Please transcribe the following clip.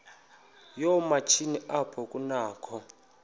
yoomatshini apho kunakho